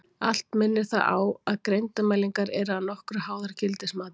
Allt minnir það á að greindarmælingar eru að nokkru háðar gildismati.